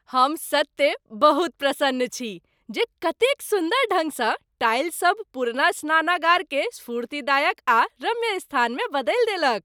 हम सत्ते बहुत प्रसन्न छी जे कतेक सुन्दर ढंग सँ टाइल सब पुरना स्नानागार के स्फूर्तिदायक आ रम्य स्थान में बदलि देलक।